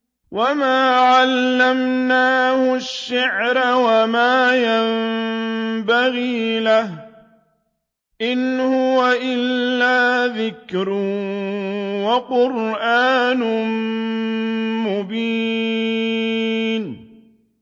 وَمَا عَلَّمْنَاهُ الشِّعْرَ وَمَا يَنبَغِي لَهُ ۚ إِنْ هُوَ إِلَّا ذِكْرٌ وَقُرْآنٌ مُّبِينٌ